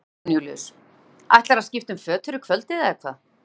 Jón Júlíus: Ætlarðu að skipta um föt fyrir kvöldið eða hvað?